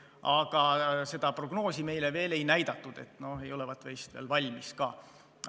Aga seda prognoosi meile veel ei näidatud, ei olevat vist veel valmis ka.